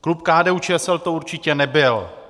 Klub KDU-ČSL to určitě nebyl.